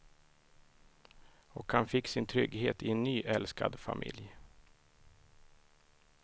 Och han fick sin trygghet i en ny älskad familj.